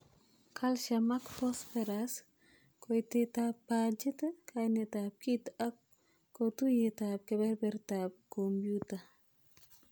Calcium ak phosphorus, koitetab bachit, kainetab kit ak kotuyet ab kebebertab komyuta.